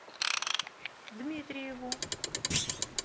дмитриеву